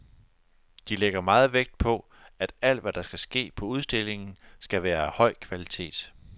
De lægger meget vægt på, at alt hvad der skal ske på udstillingen, skal være af høj kvalitet.